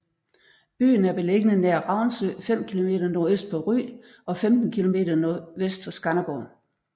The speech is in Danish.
Byen er beliggende nær Ravnsø 5 km nordøst for Ry og 15 km nordvest for Skanderborg